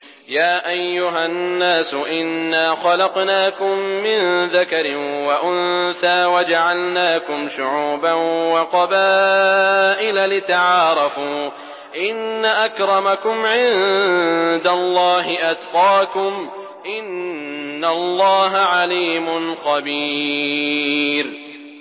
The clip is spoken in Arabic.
يَا أَيُّهَا النَّاسُ إِنَّا خَلَقْنَاكُم مِّن ذَكَرٍ وَأُنثَىٰ وَجَعَلْنَاكُمْ شُعُوبًا وَقَبَائِلَ لِتَعَارَفُوا ۚ إِنَّ أَكْرَمَكُمْ عِندَ اللَّهِ أَتْقَاكُمْ ۚ إِنَّ اللَّهَ عَلِيمٌ خَبِيرٌ